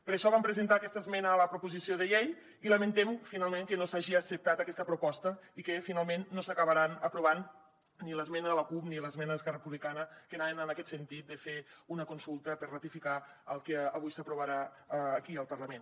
per això vam presentar aquesta esmena a la proposició de llei i lamentem que no s’hagi acceptat aquesta proposta i que finalment no s’acabaran aprovant ni l’esmena de la cup ni l’esmena d’esquerra republicana que anaven en aquest sentit de fer una consulta per ratificar el que avui s’aprovarà aquí al parlament